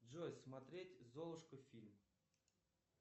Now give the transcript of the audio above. джой смотреть золушка фильм